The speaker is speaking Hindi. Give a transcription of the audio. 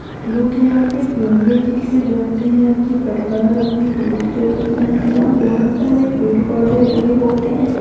लोग यहाँं पे घुमने के लिए जाते हैं अपने परिवार अपने दोस्तों के साथ। यहाँं बहोत सारे पेड़ पौधे लगे होते हैं।